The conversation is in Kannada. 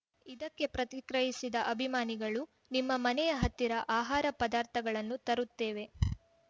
ಇದಕ್ಕೆ ಪ್ರತಿಕ್ರಿಯಿಸಿದ ಅಭಿಮಾನಿಗಳು ನಿಮ್ಮ ಮನೆಯ ಹತ್ತಿರ ಆಹಾರ ಪದಾರ್ಥಗಳನ್ನು ತರುತ್ತೇವೆ